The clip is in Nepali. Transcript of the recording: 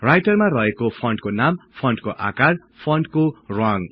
राईटरमा रहेको फन्टको नाम फन्टको आकार फन्टको रङ